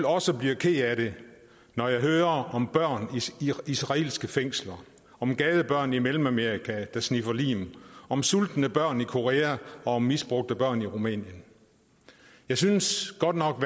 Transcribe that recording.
også bliver ked af det når jeg hører om børn i israelske fængsler om gadebørn i mellemamerika der sniffer lim om sultne børn i korea og om misbrugte børn i rumænien jeg synes godt nok